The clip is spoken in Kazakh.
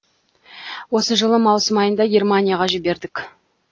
осы жылы маусым айында германияға жібердік